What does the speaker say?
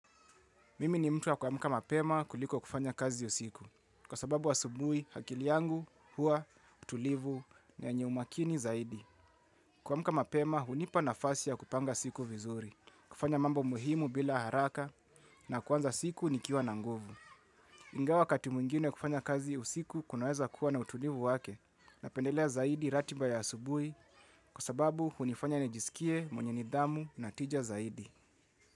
Mimi ni mtu wa kuamka mapema kuliko kufanya kazi usiku kwa sababu asubuhi akili yangu hua tulivu ni yenye umakini zaidi. Kuamka mapema hunipa nafasi ya kupanga siku vizuri, kufanya mambo muhimu bila haraka na kuanza siku nikiwa na nguvu. Ingawa wakati mwingine kufanya kazi usiku kunaweza kuwa na utulivu wake. Napendelea zaidi ratiba ya asubuhi kwa sababu hunifanya nijisikie mwenye nidhamu na tija zaidi.